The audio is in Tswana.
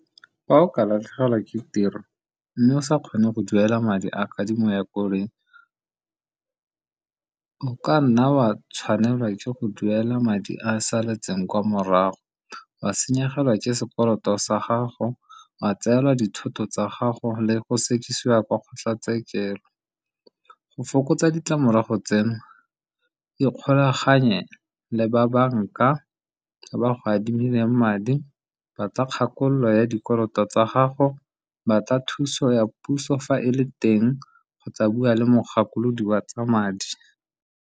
Fa o ka latlhegelwa ke tiro, mme o sa kgone go duela madi a kadimo ya koloi. O ka nna wa tshwanelwa ke go duela madi a saletseng kwa morago, wa senyegelwa ke sekoloto sa gago, wa tseelwa dithoto tsa gago, le go sekisiwa kwa kgotlatshekelo. Go fokotsa ditlamorago tseno ikgolaganye le ba banka ba ba go adimileng madi, ba tla kgakololo ya dikoloto tsa gago, ba tla thuso ya puso fa e le teng, kgotsa bua le mogakolodi wa tsa madi.